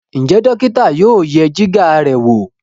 Njé dókítà yóò yẹ Jìgá rẹ wọ?